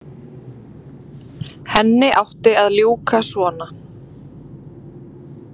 Henni átti að ljúka svona.